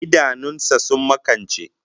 Idanun sa sun makance